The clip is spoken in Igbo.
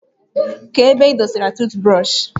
Kee ebee ịdọ sara tụụt brọshị?